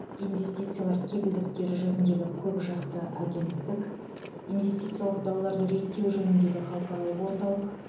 инвестициялар кепілдіктері жөніндегі көпжақты агенттік инвестициялық дауларды реттеу жөніндегі халықаралық орталық